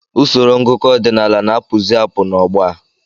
Usoro ngụkọ ọdinaala ná-apụzi apụ na-ọgbọ a.